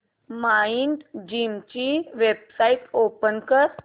Mindgym ची website open कर